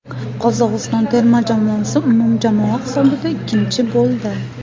Qozog‘iston terma jamoasi umumjamoa hisobida ikkinchi bo‘ldi.